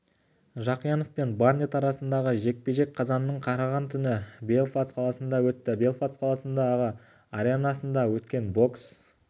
жақиянов пен барнетт арасындағы жекпе-жек қазанның қараған түні белфаст қаласында өтті белфаст қаласындағы аренасында өткен бокс